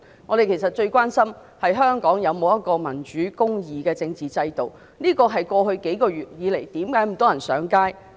其實我們最關心的是香港有沒有民主和公義的政治制度，這是過去數個月以來，為何有這麼多人上街的原因。